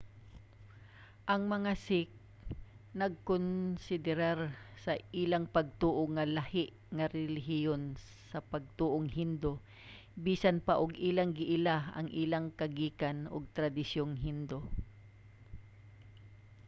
ang mga sikh nagkonsiderar sa ilang pagtoo nga lahi nga relihiyon sa pagtoong hindu bisan pa og ilang giila ang ilang kagikan ug tradisyong hindu